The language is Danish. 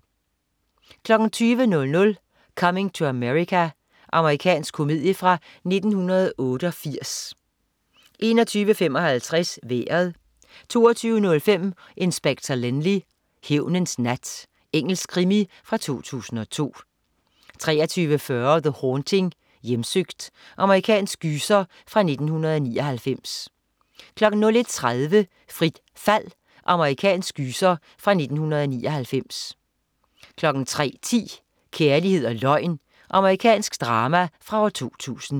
20.00 Coming to America. Amerikansk komedie fra 1988 21.55 Vejret 22.05 Inspector Lynley. Hævnens nat. Engelsk krimi fra 2002 23.40 The Haunting, hjemsøgt. Amerikansk gyser fra 1999 01.30 Frit fald. Amerikansk gyser fra 1999 03.10 Kærlighed og løgn. Amerikansk drama fra 2000